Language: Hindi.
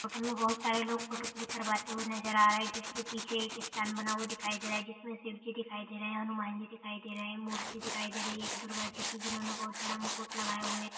इस में बहुत सरे लोग फोटो क्लिक करवा ते नजर आ रहे है जिस के पीछे एक स्टैंड बना हुए दिखाई दे रह है जिस में शिव जी दिखाई दे रहा है हनुमान जी दिखाई दे रहा है मूर्ति दिखाई दे रही है दुर्गा जी की जिन्होंने बहुत बड़ा मुकुट लगाया हुआ है।